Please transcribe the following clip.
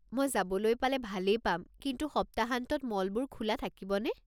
মই যাবলৈ পালে ভালেই পাম, কিন্তু সপ্তাহান্তত মলবোৰ খোলা থাকিবনে?